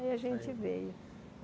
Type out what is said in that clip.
Aí a gente veio.